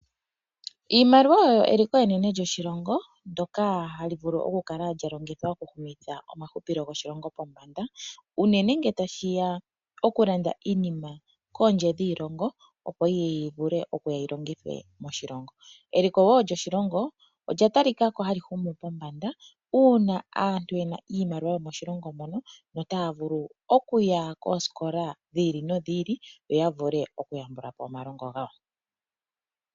Iimaliwa oyo eliko enene lyoshilongo ndjoka hali vulu oku kala lyalongithwa okuhumitha omahupilo goshilongo pombanda. Unene ngele tashiya okulanda iinima kondje dhiilongo opo yiye yi vulu okuya yilongithwe moshilongo. Eliko woo lyoshilongo olya talika ko hali humu pombanda uuna aantu yena iimaliwa yomoshilongo mono yo taya vulu okuya kooskola dhi ili nodhi ili yoya vule oku yambulapo omalongo gawo.